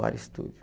WOAR Estúdio.